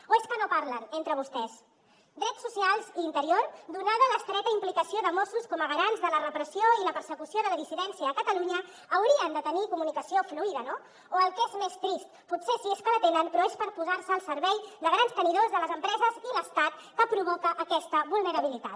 o és que no parlen entre vostès drets socials i interior donada l’estreta implicació de mossos com a garants de la repressió i la persecució de la dissidència a catalunya haurien de tenir comunicació fluida no o el que és més trist potser sí que la tenen però és posar se al servei de grans tenidors de les empreses i l’estat que provoca aquesta vulnerabilitat